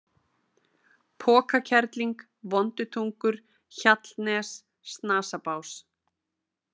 Pokakerling, Vondutungur, Hjallnes, Snasabás